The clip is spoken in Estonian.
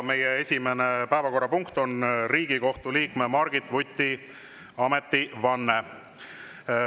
Meie esimene päevakorrapunkt on Riigikohtu liikme Margit Vuti ametivanne.